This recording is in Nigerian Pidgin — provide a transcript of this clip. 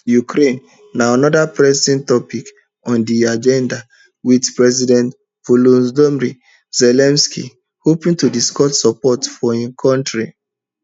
ukraine na anoda pressing topic on di agenda wit president volodomyr zelensky hoping to discuss support for im kontri